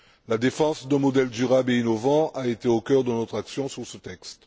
La défense d'un modèle durable et innovant a été au cœur de notre action sur ce texte.